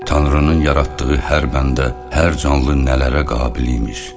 Tanrının yaratdığı hər bəndə, hər canlı nələrə qabil imiş.